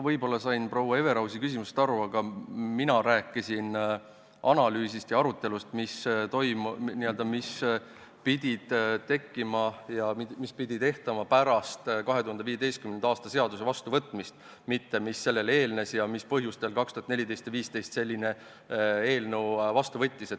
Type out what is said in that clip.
Võib-olla sain ma proua Everausi küsimusest valesti aru, aga mina rääkisin sellest analüüsist ja arutelust, mis pidid järgnema 2015. aastal seaduse vastuvõtmisele, mitte sellele eelnenust ega sellest, mis põhjustel 2014 ja 2015 selline eelnõu vastu võeti.